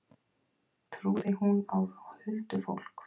Trúði hún á huldufólk?